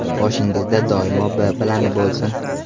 Boshingizda doimo B plani bo‘lsin.